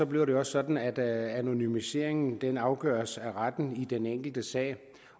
bliver det også sådan at anonymiseringen afgøres af retten i den enkelte sag